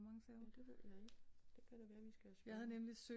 Ja det ved jeg ikke det kan da være vi skal spørge